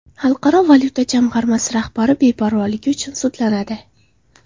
Xalqaro valyuta jamg‘armasi rahbari beparvoligi uchun sudlanadi.